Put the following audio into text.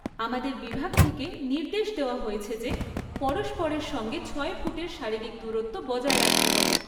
আমাদের বিভাগ থেকে নির্দেশ দেওয়া হয়েছে যে পরস্পরের সঙ্গে ছয় ফুটের শারীরিক দূরত্ব বজায় রাখতে হবে।